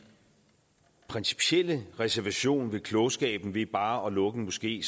principielle reservation ved klogskaben ved bare at lukke en moské